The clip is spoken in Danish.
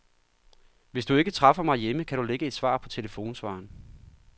Hvis du ikke træffer mig hjemme, kan du lægge et svar på telefonsvareren.